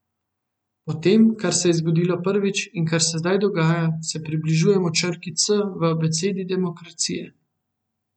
Po tem, kar se je zgodilo prvič in kar se zdaj dogaja, se približujemo črki C v abecedi demokracije.